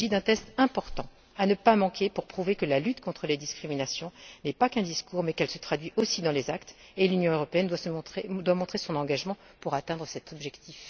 Il s'agit d'un test important à ne pas manquer pour prouver que la lutte contre les discriminations ne se limite pas à un discours, mais qu'elle se traduit aussi dans les actes, et l'Union européenne doit montrer son engagement à atteindre cet objectif.